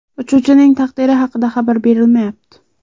Uchuvchining taqdiri haqida xabar berilmayapti.